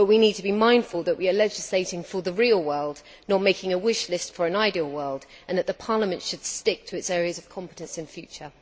But we need to be mindful that we are legislating for the real world, not making a wish list for an ideal world, and that Parliament should stick to its areas of competence in future.